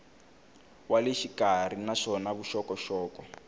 wa le xikarhi naswona vuxokoxoko